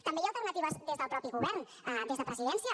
també hi ha alternatives des del mateix govern des de presidència